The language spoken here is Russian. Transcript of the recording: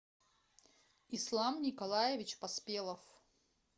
ислам николаевич поспелов